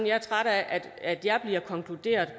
jeg er træt af at det jeg siger konkluderer